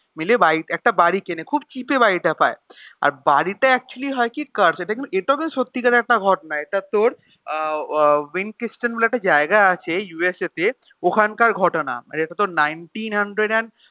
মিলে বাড়ি একটা বাড়ি কেনে খুব cheap এ বাড়িটা পায় আর বাড়িটা actually হয় কি এটা তোর সত্যিকারের একটা ঘটনা এটা তোর আহ উহ উইনকিস্টন বলে একটা জায়গা আছে USA তে ওখানকার ঘটনা মানে এটা তোর nineteen hundred and